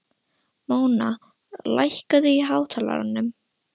Móna, lækkaðu í hátalaranum.